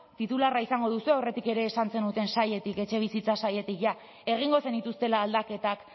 titularra izango duzue aurretik ere esan zenuten sailetik etxebizitza sailetik jada egingo zenituztela aldaketak